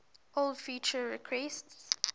old feature requests